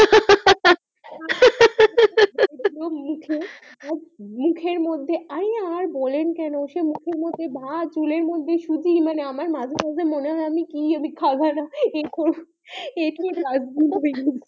ওর মুখে আর মুখের মধ্যে আরে আর বলেন কেন মুখের মধ্যে ভাত চুলের মধ্যে সুটি আমার মাঝে মধ্যে মনে হয় আমি কি খাবার করছি